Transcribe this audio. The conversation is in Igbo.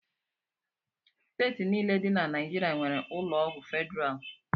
Steeti niile dị na Naijiria nwere ụlọọgwụ federalụ